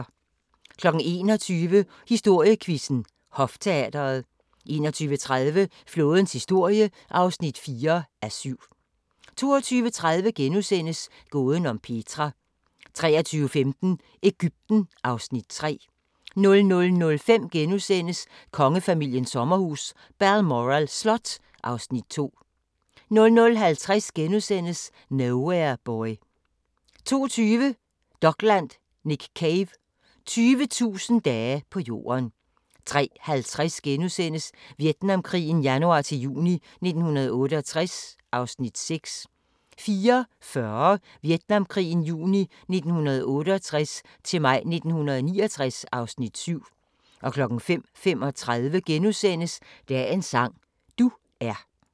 21:00: Historiequizzen: Hofteatret 21:30: Flådens historie (4:7) 22:30: Gåden om Petra * 23:15: Egypten (Afs. 3) 00:05: Kongefamiliens sommerhus – Balmoral Slot (Afs. 2)* 00:50: Nowhere Boy * 02:20: Dokland: Nick Cave – 20.000 dage på Jorden 03:50: Vietnamkrigen januar-juni 1968 (Afs. 6)* 04:40: Vietnamkrigen juni 1968-maj 1969 (Afs. 7) 05:35: Dagens sang: Du er *